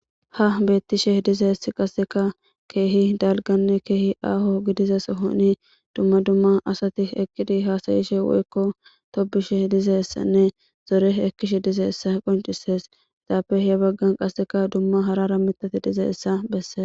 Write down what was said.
Ha beettishe dizess qasseka keehi dalganne keehi aaho gidizes honi dumma dumma asati eqidi haasayishe woykko tobishe dizessanne zore ekkishe dize essa qoncisees itaape he baggan qasseka dumma harara mitati dizeessa besses.